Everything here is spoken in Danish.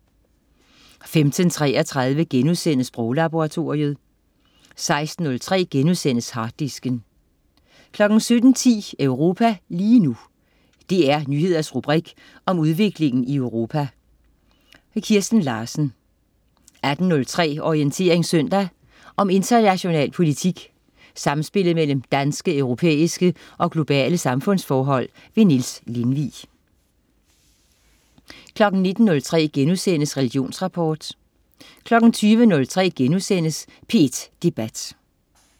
15.33 Sproglaboratoriet* 16.03 Harddisken* 17.10 Europa lige nu. DR Nyheders rubrik om udviklingen i Europa. Kirsten Larsen 18.03 Orientering søndag. Om international politik, samspillet mellem danske, europæiske og globale samfundsforhold. Niels Lindvig 19.03 Religionsrapport* 20.03 P1 Debat*